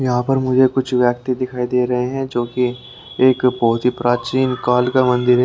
यहाँ पर मुझे कुछ व्यक्ति दिखाई दे रहे हैं जो कि एक बहोत ही प्राचीन काल का मंदिर है।